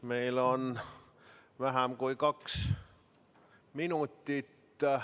Meil on vähem kui kaks minutit.